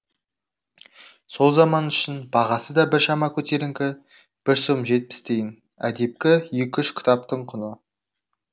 сол заман үшін бағасы да біршама көтеріңкі бір сом жетпіс тиын әдепкі екі үш кітаптың құны